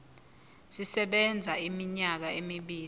sisebenza iminyaka emibili